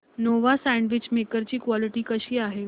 Nova sandwich maker ची quality कशी आहे